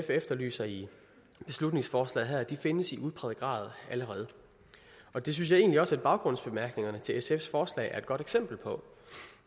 efterlyser i beslutningsforslaget her findes i udpræget grad allerede og det synes jeg egentlig også at baggrundsbemærkningerne til sfs forslag er et godt eksempel på